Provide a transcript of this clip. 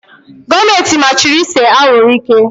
Gọọmenti machiri ise anwụrụ ike.